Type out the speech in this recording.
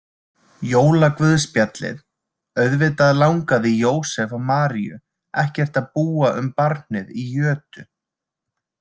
Jólaguðspjallið Auðvitað langaði Jósef og Maríu ekkert að búa um barnið í jötu.